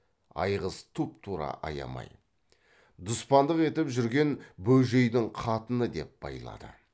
айғыз тұп тура аямай дұспандық етіп жүрген бөжейдің қатыны деп байлады